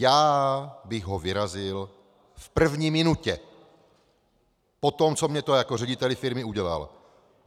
Já bych ho vyrazil v první minutě po tom, co mi to jako řediteli firmy udělal.